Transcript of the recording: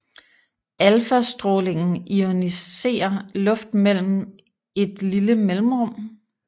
Alfastrålingen ioniserer luft mellem et lille mellemrum